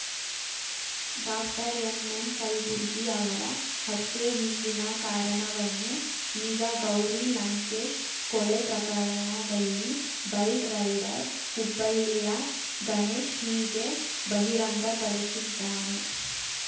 doctor M M Kalburgi ಅವರ ಹತ್ಯೆ ಹಿಂದಿನ ಕಾರಣವನ್ನು ಈಗ ಗೌರಿ ಲಂಕೇಶ್‌ ಕೊಲೆ ಪ್ರಕರಣದಲ್ಲಿ ಬೈಕ್‌ ರೈಡರ್‌ ಹುಬ್ಬಳ್ಳಿಯ ಗಣೇಶ್‌ ಹೀಗೆ ಬಹಿರಂಗಪಡಿಸಿದ್ದಾನೆ